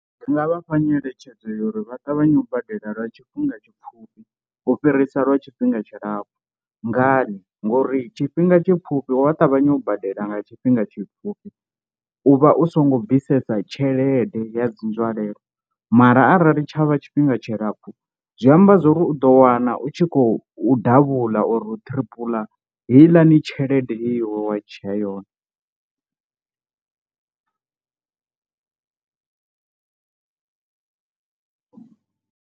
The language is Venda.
Ndi nga vhafha nyeletshedzo ya uri vha ṱavhanye u badela lwa tshifhinga tshipfhufhi u fhirisa lwa tshifhinga tshilapfhu, ngani ngori tshifhinga tshipfhufhi wa ṱavhanya u badela nga tshifhinga tshipfhufhi u vha u songo bvisesa tshelede ya dzi nzwalelo mara arali tshavha tshifhinga tshilapfhu zwi amba zwori u ḓo wana u tshi khou davhula or u tripler heiḽani tshelede ye iwe wa dzhia yone.